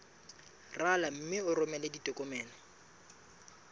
rala mme o romele ditokomene